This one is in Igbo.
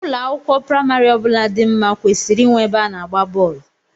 Ụlọ akwụkwọ praimari ọbụla dị nma kwesịrị inwe ebe a na-agba bọọlụ.